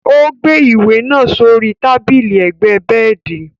Ó gbé ìwé náà sórí tábìlì ẹ̀gbẹ́ bẹẹdi.